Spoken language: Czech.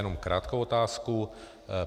Jenom krátkou otázku.